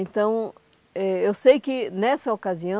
Então, eh eu sei que nessa ocasião,